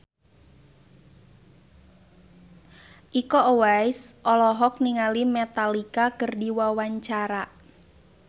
Iko Uwais olohok ningali Metallica keur diwawancara